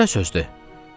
Bu nə sözdür?